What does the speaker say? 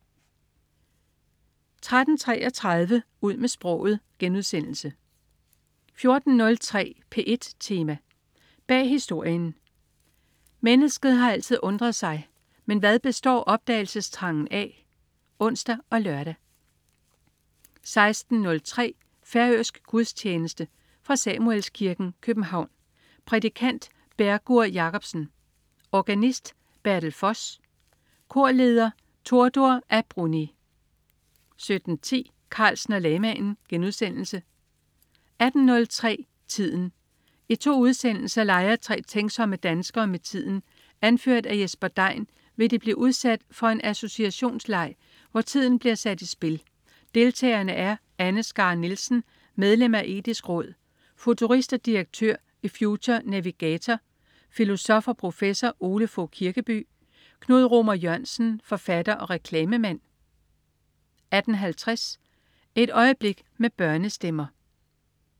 13.33 Ud med sproget* 14.03 P1 Tema: Bag horisonten. Mennesket har altid undret sig. Men hvad består opdagelsestrangen af? (ons og lør) 16.03 Færøsk gudstjeneste. Fra Samuelskirken, København. Prædikant: Bergur Jakobsen. Organist: Bertel Voss. Korleder: Tordur a Brunni 17.10 Carlsen og lamaen* 18.03 Tiden. I to udsendelser leger tre tænksomme danskere med tiden. Anført af Jesper Dein vil de blive udsat for en associationsleg, hvor tiden bliver sat i spil. Deltagerne er: Anne Skare Nielsen, medlem af Etisk Råd, futurist og direktør i Future Navigator. Filosof og professor Ole Fogh Kirkeby. Knud Romer Jørgensen, forfatter og reklamemand 18.50 Et øjeblik med børnestemmer